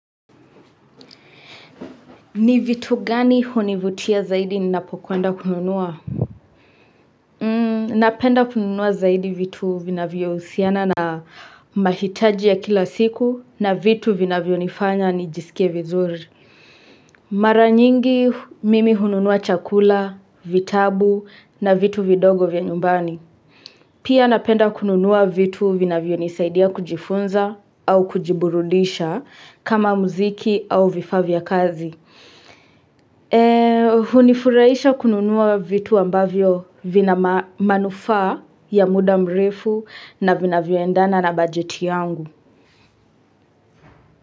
Ni vitu gani hunivutia zaidi ninapokwenda kununua? Napenda kununua zaidi vitu vinavyohusiana na mahitaji ya kila siku na vitu vinavyo nifanya nijisikie vizuri. Mara nyingi mimi hununua chakula, vitabu na vitu vidogo vya nyumbani. Pia napenda kununua vitu vinavyo nisaidia kujifunza au kujiburudisha kama mziki au vifaa vya kazi. Hunifurahisha kununua vitu ambavyo vina manufaa ya muda mrefu na vinavyoendana na bajeti yangu.